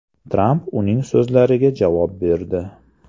Tramp uning so‘zlariga javob berdi.